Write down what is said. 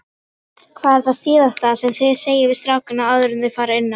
Hvað er það síðasta sem þið segið við strákana áður enn þeir fara inn á?